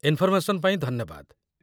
Information ପାଇଁ ଧନ୍ୟବାଦ ।